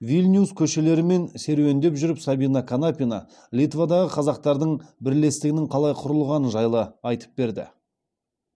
вильнюс көшелерімен серуендеп жүріп сабина канапина литвадағы қазақтардың бірлестігінің қалай құрылғаны жайлы айтып берді